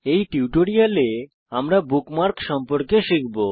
এই টিউটোরিয়ালে আমরা বুকমার্কস সম্পর্কে শিখব